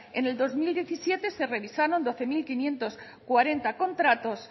en el dos mil diecisiete se revisaron doce mil quinientos cuarenta contratos